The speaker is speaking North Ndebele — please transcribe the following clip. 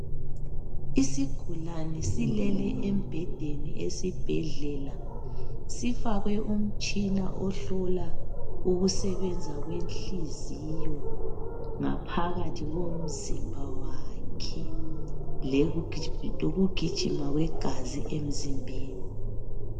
isgulane silele embhedeni esibhedlela sifakwe umtshina ohlola ubukusebenza kwenhliziyo ngaphakathi komzimba wakhe lokugijima kwegazi emzimbeni